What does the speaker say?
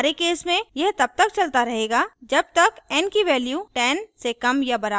हमारे case में यह तब तक चलता रहेगा जब तक n की value 10 से कम या बराबर है